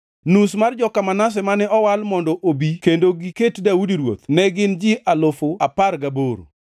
nus mar joka Manase mane owal mondo obi kendo giket Daudi ruoth ne gin ji alufu apar gaboro (18,000);